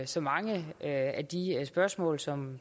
så mange af de spørgsmål som